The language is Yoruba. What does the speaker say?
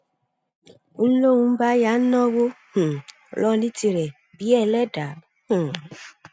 ń lóun bá yáa ń náwó um lọ ní tirẹ bíi ẹlẹdà um